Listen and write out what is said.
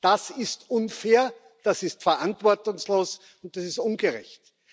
Das ist unfair, das ist verantwortungslos und das ist ungerecht.